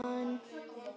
Skortur á togi